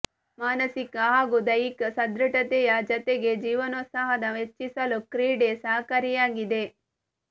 ಮಾನಸಿಕ ಹಾಗೂ ದೈಹಿಕ ಸದೃಢತೆಯ ಜತೆಗೆ ಜೀವನೋತ್ಸಾಹ ಹೆಚ್ಚಿಸಲು ಕ್ರೀಡೆ ಸಹಕಾರಿಯಾಗಿದೆ